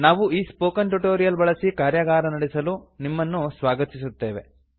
ನಾವು ಈ spoken tutorial ಬಳಸಿ ಕಾರ್ಯಾಗಾರ ನಡೆಸಲು ನಿಮ್ಮನ್ನು ಸ್ವಾಗತಿಸುತ್ತೇವೆ